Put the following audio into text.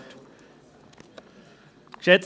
Sie haben das Wort.